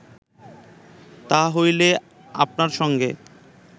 তাহা হইলে আপনার সঙ্গে